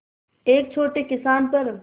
एक छोटे किसान पर